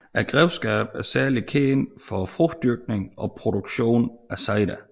Grevskabet er særligt kendt for frugtdyrkning og produktion af cider